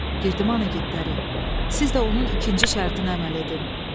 Girdiman igidləri, siz də onun ikinci şərtinə əməl edin.